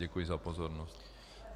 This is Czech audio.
Děkuji za pozornost.